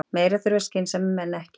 Meira þurfa skynsamir menn ekki.